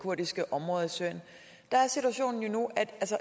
kurdiske områder i syrien der er situationen nu